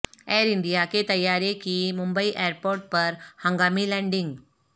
year India کے طیارے کی ممبئی ایئرپورٹ پر ہنگامی لینڈنگ